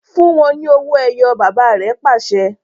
Fun u wọn ni òwò-ẹyọ̀! baba re pase